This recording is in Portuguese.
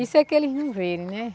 Isso é que eles não verem, né?